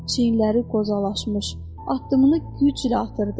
Çiyinləri qozalaşmış, addımını güclə atırdı.